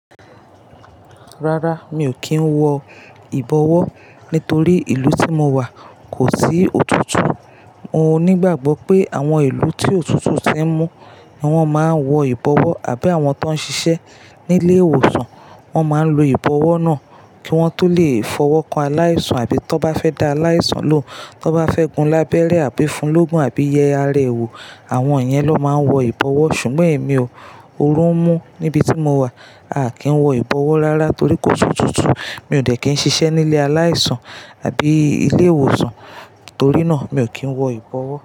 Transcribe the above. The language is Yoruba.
Rárá, mi ò kí ń wọ ìbọwó́ nítorí ìlú tí mo wà kò sí òtútù. Mo nígbàgbọ́ pé àwọn ìlú tí òtútù ti ń mú ni wọ́n máa ń wọ ìbọwó́ àbí àwọn tó ń ṣiṣẹ́ ní ilé ìwòsàn, wọ́n máa ń lo ìbọwó́ náà kí wọ́n tó lè fọwọ́ kan aláìsàn àbí tó bá fẹ́ da aláìsàn ló. Tó bá fẹ́ gun lábẹ́rẹ́ àbí fún lógún àbí yẹ ara ẹ ò. Àwọn iyen ló máa ń wọ ìbọwó́. Ṣùgbọ́n èmi ò. Òórù ń mú níbi tí mo wà. A kì í wọ ìbọwó́ rárá torí kò si otútù. Mi ò dẹ̀ kí n ṣiṣẹ́ nílé aláìsàn àbí ilé ìwòsàn, torí náà mi ò kí ń wọ ìbọwó́.